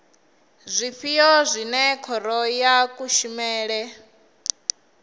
zwifhio zwine khoro ya kushemele